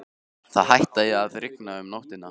Það hætti að rigna um nóttina.